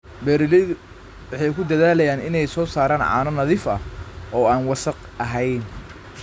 Beeraleydu waxay ku dadaalaan inay soo saaraan caano nadiif ah oo aan wasakh ahayn.